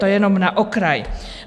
To jenom na okraj.